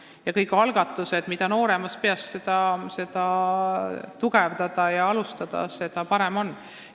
Mida nooremast peast keeleõpet alustatakse ja mida varem seda tugevdatakse, seda parem on.